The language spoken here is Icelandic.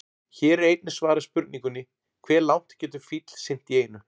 Hér er einnig svarað spurningunni: Hve langt getur fíll synt í einu?